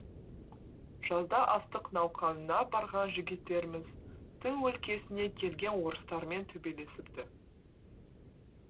жазда астық науқанына барған жігіттеріміз тың өлкесіне келген орыстармен төбелесіпті